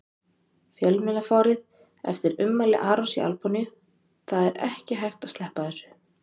Fjölmiðlafárið eftir ummæli Arons í Albaníu Það er ekki hægt að sleppa þessu.